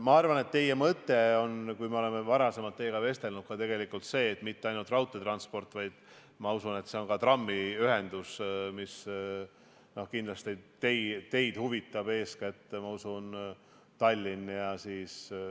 Ma arvan, et teie mõte – kui oleme teiega varasemalt vestelnud – ei piirdu tegelikult mitte ainult raudteetranspordiga, vaid ma usun, et kindlasti huvitab teid ka trammiühendus, eeskätt Tallinnas.